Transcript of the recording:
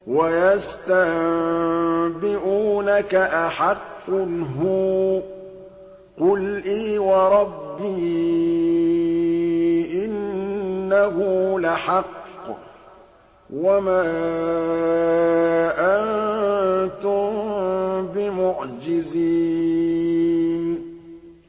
۞ وَيَسْتَنبِئُونَكَ أَحَقٌّ هُوَ ۖ قُلْ إِي وَرَبِّي إِنَّهُ لَحَقٌّ ۖ وَمَا أَنتُم بِمُعْجِزِينَ